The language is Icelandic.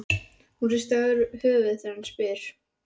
Hún hristir höfuðið þegar hann spyr.